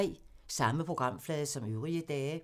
Samme programflade som øvrige dage